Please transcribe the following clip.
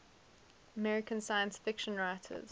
american science fiction writers